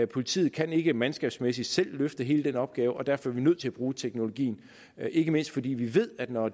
politiet kan ikke mandskabsmæssigt selv løfte hele den opgave og derfor er vi nødt til at bruge teknologien ikke mindst fordi vi ved at når